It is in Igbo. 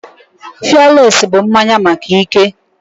Fialesi bụ mmanya maka ike